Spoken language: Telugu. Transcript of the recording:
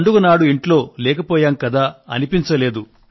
పండుగనాడు ఇంట్లో లేకపోయాం కదా అనిపించలేదు